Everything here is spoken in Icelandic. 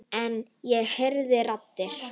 En ég heyri raddir.